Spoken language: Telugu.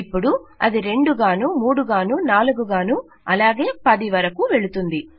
అపుడు ఇది 2 గానూ 3 గానూ 4గానూ అలాగే 10 వరకు వెళుతుంది